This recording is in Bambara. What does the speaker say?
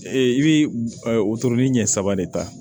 Ee i bɛ wotoro ɲɛ saba de ta